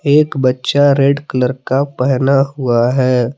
एक बच्चा red colour का पहना हुआ है।